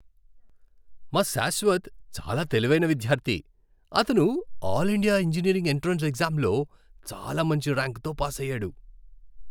మా శాశ్వత్ చాలా తెలివైన విద్యార్థి! అతను ఆల్ ఇండియా ఇంజనీరింగ్ ఎంట్రన్స్ ఎగ్జామ్లో చాలా మంచి ర్యాంక్తో పాసయ్యాడు.